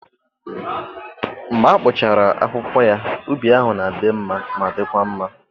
Mgbe a kpụchara akwụkwọ ya, ubi ahụ na-adị mma ma dịkwa mma.